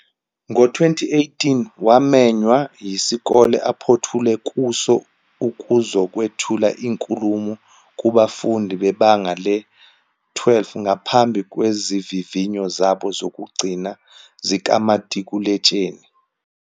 Ngo-2018, wamenywa yisikole aphothula kuso ukuzokwethula inkulumo kubafundi bebanga le-12 ngaphambi kwezivivinyo zabo zokugcina zikamatikuletsheni.